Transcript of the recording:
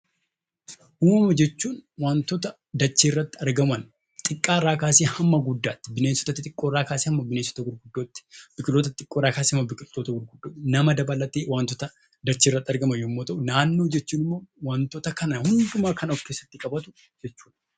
Uumama jechuun waantota dachee irratti argaman xiqqaarraa kaasee hamma guddaatti, bineensota xixiqqoo irraa kaasee hamma bineensota gurguddootti, biqiloota xixiqqoo irraa kaasee hamma biqiltoota gurguddootti, nama dabalatee waantota dacheerratti argaman yommuu ta'u, naannoo jechuun ammoo waantota kana hundumaa kan of keessatti qabatu jechuudha.